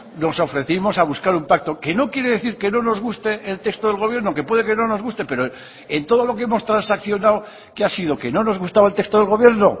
nos ofrecimos a buscar un pacto que no quiere decir que no nos guste el texto del gobierno que puede que no nos guste pero en todo lo que hemos transaccionado qué ha sido que no nos gustaba el texto del gobierno